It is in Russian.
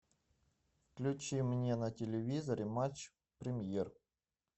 включи мне на телевизоре матч премьер